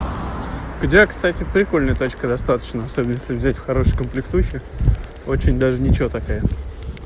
у тебя кстати прикольная тачка достаточно особенно если взять в хороших комплектующих очень даже ничего такая